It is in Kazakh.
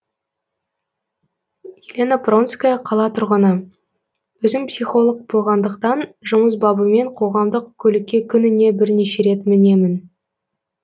елена пронская қала тұрғыны өзім психолог болғандықтан жұмыс бабымен қоғамдық көлікке күніне бірнеше рет мінемін